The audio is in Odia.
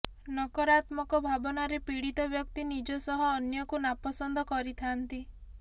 ନକରାତ୍ମକ ଭାବନାରେ ପୀଡିତ ବ୍ୟକ୍ତି ନିଜ ସହ ସହ ଅନ୍ୟକୁ ନାପସନ୍ଦ କରିଥାନ୍ତି